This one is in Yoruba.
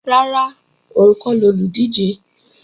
Rárá, òun kọ́ lolùdíje